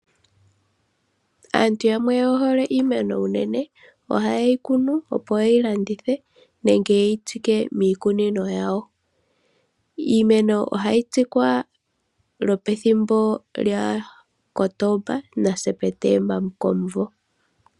Aantu yamwe oye hole iimeno uunene, ohaye yi kunu, opo ye yi landithe, nenge ye yitsike miikunino yawo. Iimeno ohayi tsikwa lwopwethimbo lyaKotoba naSeptemba komumvo.